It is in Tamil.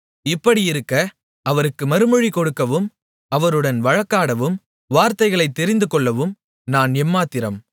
இப்படியிருக்க அவருக்கு மறுமொழி கொடுக்கவும் அவருடன் வழக்காடும் வார்த்தைகளைத் தெரிந்து கொள்ளவும் நான் எம்மாத்திரம்